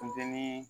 Funteni